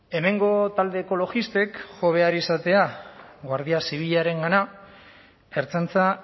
hemengo talde ekologistek jo behar izatea guardia zibilarengana ertzaintza